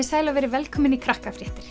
sæl og verið velkomin í